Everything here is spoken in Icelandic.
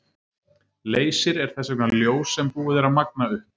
Leysir er þess vegna ljós sem búið er að magna upp.